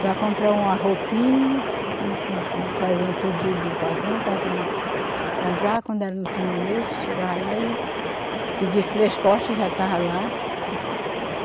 Para comprar uma roupinha, ele fazia pedido do patrão, o patrão comprava, quando era no fim do mês, chegava lá e pedia três cortes, já estava lá.